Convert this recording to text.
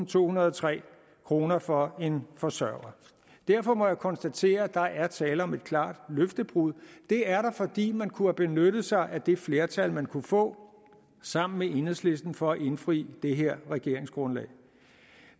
tohundrede og tre kroner for en forsørger derfor må jeg konstatere at der er tale om et klart løftebrud det er der fordi man kunne have benyttet sig af det flertal man kunne få sammen med enhedslisten for at indfri det her regeringsgrundlag